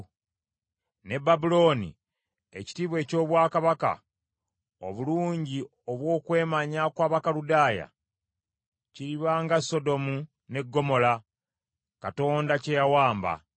Ne Babulooni, ekitiibwa eky’obwakabaka, obulungi obw’okwemanya kw’Abakaludaaya, kiriba nga Sodomu ne Ggomola Katonda bye yawamba.